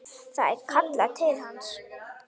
Það er kallað til hans.